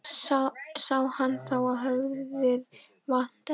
Sá hann þá að höfuðið vantaði á líkið.